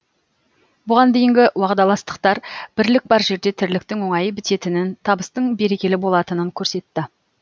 бұған дейінгі уағдаластықтар бірлік бар жерде тірліктің оңай бітетінін табыстың берекелі болатынын көрсетті